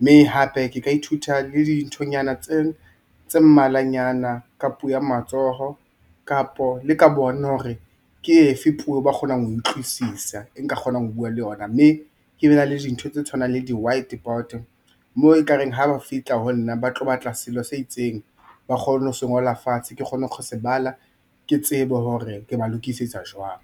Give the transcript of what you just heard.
Mme hape ke ka ithuta le dinthonyana tse mmalwanyana ka puo ya matsoho kapo le ka bona hore ke efe puo ba kgonang ho e utlwisisa e nka kgonang ho bua le yona, mme ke be na le dintho tse tshwanang le di-white board moo e kareng ha ba fihla ho nna ba tlo batla selo se itseng, ba kgone ho se ngola fatshe ke kgone kgose bala ke tsebe hore ke ba lokisetsa jwang.